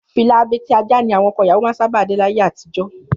Fìlà abetí-ajá ni àwọn ọkọ ìyàwó máa ń sábà dé láyé àtijọ́